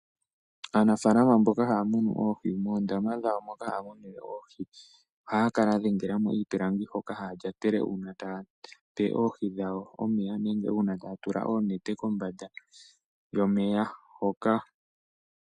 Aanafalama mboka haya munu oohi moondama dhawo mono haya munine oohi ohaya kala yadhengelamo iipilangi hono haya lyatele uuna taya pe oohi dhawo iikulya nenge omeya nenge uuna taya tula oonete kombanda yomeya hoka.